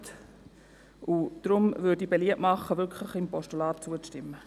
Aus diesem Grund mache ich beliebt, einem Postulat zuzustimmen.